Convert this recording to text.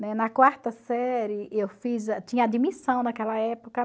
na quarta série, tinha admissão naquela época.